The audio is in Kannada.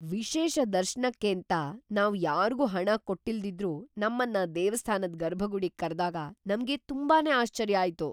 ವಿಶೇಷ ದರ್ಶನಕ್ಕೇಂತ ನಾವ್ ಯಾರ್ಗೂ ಹಣ ಕೊಟ್ಟಿಲ್ದಿದ್ರೂ ನಮ್ಮನ್ನ ದೇವಸ್ಥಾನದ್ ಗರ್ಭಗುಡಿಗ್ ಕರ್ದಾಗ ನಮ್ಗೆ ತುಂಬಾನೇ ಆಶ್ಚರ್ಯ ಆಯ್ತು.